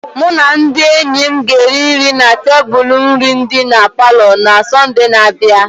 Mụ na ndị enyi m ga-eri nri na tebụl nri dị na palọ na Sọnde na-abịa.